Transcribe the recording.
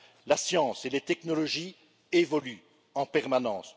La science et les technologies évoluent en permanence.